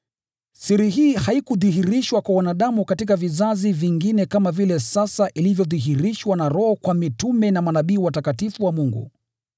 Siri hii haikudhihirishwa kwa wanadamu katika vizazi vingine kama vile sasa ilivyodhihirishwa na Roho kwa mitume na manabii watakatifu wa Mungu.